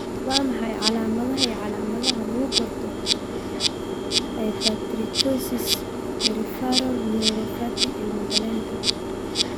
Waa maxay calaamadaha iyo calaamadaha lagu garto hypertrichosis peripheral neuropathy ilmo galeenka?